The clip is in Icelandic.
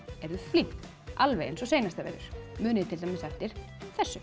eruð flink alveg eins og seinasta vetur munið til dæmis eftir þessu